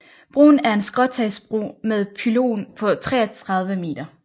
Broen er en skråstagsbro med en pylon på 33 meter